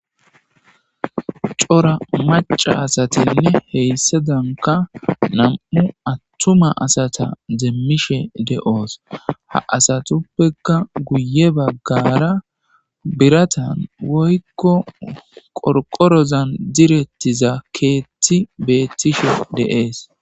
Cora maca asatinne heyssadanka nam7u attuma asata deemmishe de7oos ha asatuppeka guye baggara biratan woykko qorqorozan direttiza keetti beettishe deees.